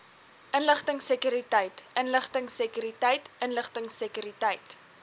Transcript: inligtingsekuriteit inligtingsekuriteit inligtingsekuriteit